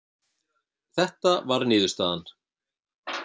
Þetta var niðurstaðan.